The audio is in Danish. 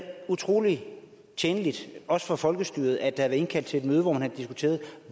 utrolig tjenligt også for folkestyret at der indkaldt til et møde hvor man havde diskuteret